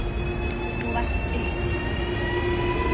Þú varst uppi.